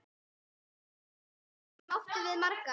Þær stundir áttum við margar.